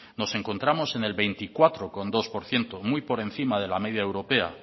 nos encontramos en el veinticuatro coma dos por ciento muy por encima de la unión europea